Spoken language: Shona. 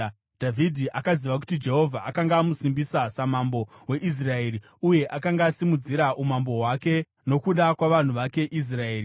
Dhavhidhi akaziva kuti Jehovha akanga amusimbisa samambo weIsraeri uye akanga asimudzira umambo hwake nokuda kwavanhu vake Israeri.